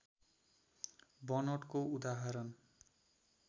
बनोटको उदाहरण